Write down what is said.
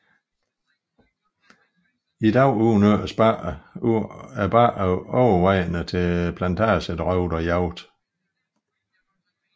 I dag udnyttes bakkerne overvejende til plantagedrift og jagt